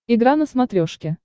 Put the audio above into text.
игра на смотрешке